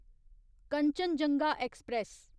Kanchenjunga express